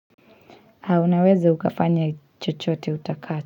Unawezi ukafanya chochote utakacho.